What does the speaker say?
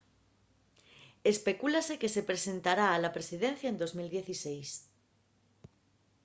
especúlase que se presentará a la presidencia en 2016